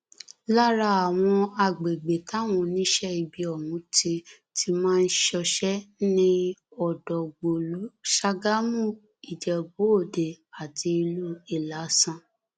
lára àwọn agbègbè táwọn oníṣẹ ibi ọhún ti ti máa ń ṣọṣẹ ni ọdọgbólú sàgámù ìjẹbúòde àti ìlú ìlasàn